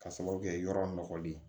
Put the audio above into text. Ka sababu kɛ yɔrɔ nɔgɔlen ye